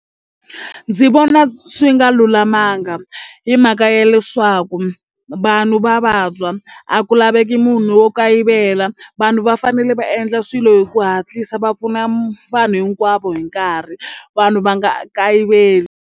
Ndzi vona swi nga lulamanga hi mhaka ya leswaku vanhu va vabya a ku laveki munhu wo kayivela vanhu va fanele va endla swilo hi ku hatlisa va pfuna mu vanhu hinkwavo hi nkarhi vanhu va nga kayiveli.